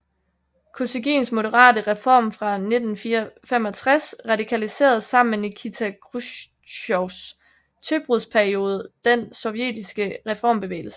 Kosygins moderate reform fra 1965 radikaliserede sammen med Nikita Khrusjtjovs tøbrudsperiode den sovjetiske reformbevægelse